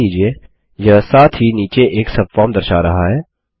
ध्यान दीजिये यह साथ ही नीचे एक सबफॉर्म दर्शा रहा है